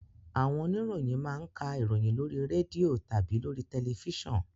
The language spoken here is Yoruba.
Àwọn oniroyin ma ń ka ìròyìn lóri rẹ́dìò tàbí lóri tẹlẹfísàn